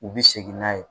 U bɛ segin n'a ye